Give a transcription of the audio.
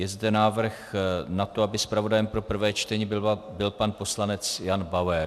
Je zde návrh na to, aby zpravodajem pro prvé čtení byl pan poslanec Jan Bauer.